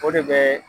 O de bɛ